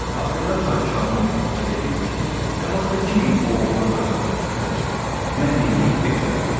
Axırda padşahın oğlu fikir edir ki, nə vaxta kimi bu oğlan qazanıb gətirəcək, mən də yeyib bekar oturacam.